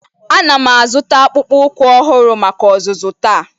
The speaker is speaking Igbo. Ana m azụta akpụkpọ ụkwụ ọhụrụ maka ọzụzụ taa